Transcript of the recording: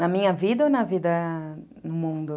Na minha vida ou na vida ... no mundo?